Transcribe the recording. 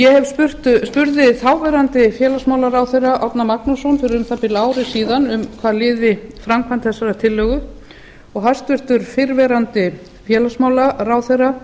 ég spurði þáv félagsmálaráðherra árna magnússon fyrir um það bil ári síðan um hvað liði framkvæmd þessarar tillögu og hæstvirtur fyrrverandi félagsmálaráðherra